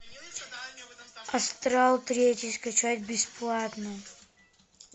астрал третий скачать бесплатно